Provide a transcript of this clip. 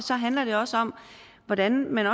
handler det også om hvordan man